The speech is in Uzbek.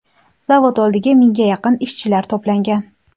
Zavod oldiga mingga yaqin ishchilar to‘plangan.